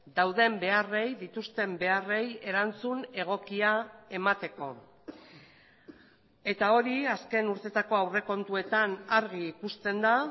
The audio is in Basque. dauden beharrei dituzten beharrei erantzun egokia emateko eta hori azken urteetako aurrekontuetan argi ikusten da